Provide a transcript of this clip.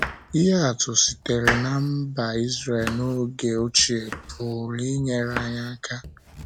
Ihe atụ sitere ná mba Izrel n'oge ochie pụrụ inyere anyị aka.